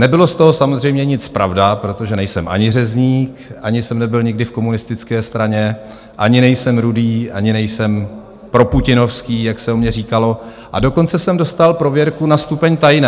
Nebylo z toho samozřejmě nic pravda, protože nejsem ani řezník, ani jsem nebyl nikdy v komunistické straně, ani nejsem rudý, ani nejsem proputinovský, jak se o mně říkalo, a dokonce jsem dostal prověrku na stupeň tajné.